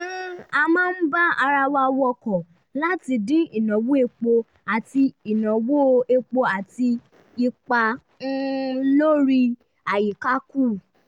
a máa ń bá ara wa wọkọ̀ láti dín ìnáwó epo àti ìnáwó epo àti ipa um lórí àyíká kù